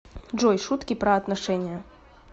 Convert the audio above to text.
джой шутки про отношения